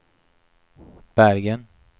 Bergen